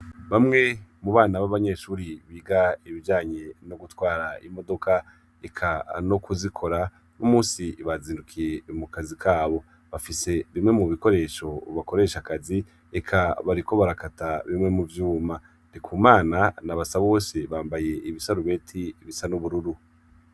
bamwe mu bana b'abanyeshuri biga ibijanye no gutwara imodoka eka no kuzikora uno munsi bazindukiye mu kazi kabo bafise bimwe mu bikoresho bakoreshe akazi eka bariko barakata bimwe mu vyuma ndikumana na basabobose bambaye ibisarubeti bisa n'ubururu